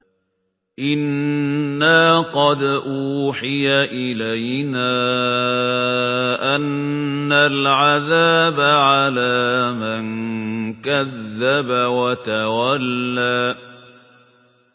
إِنَّا قَدْ أُوحِيَ إِلَيْنَا أَنَّ الْعَذَابَ عَلَىٰ مَن كَذَّبَ وَتَوَلَّىٰ